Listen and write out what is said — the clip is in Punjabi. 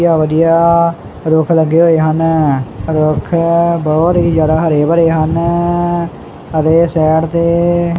ਵਧੀਆ ਵਧੀਆ ਰੁੱਖ ਲੱਗੇ ਹੋਏ ਹਨ ਰੁਖ ਬਹੁਤ ਹੀ ਜਿਆਦਾ ਹਰੇ ਭਰੇ ਹਨ ਅਤੇ ਸਾਈਡ ਤੇ।